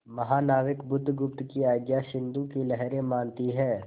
महानाविक बुधगुप्त की आज्ञा सिंधु की लहरें मानती हैं